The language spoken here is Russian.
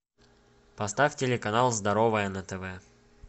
поставь телеканал здоровое на тв